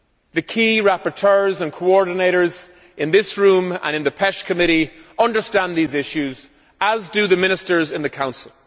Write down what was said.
The key rapporteurs and coordinators in this room and in the Committee on Fisheries understand these issues, as do the Ministers in the Council.